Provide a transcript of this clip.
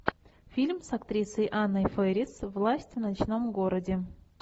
фильм с актрисой анной фэрис власть в ночном городе